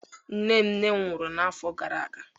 Nne nne m nwụrụ n'afọ gara aga.